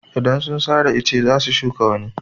Idan sun sare ice za su shuka wani.